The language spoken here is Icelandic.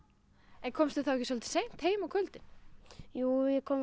en komstu þá ekki stundum seint heim á kvöldin jú ég kom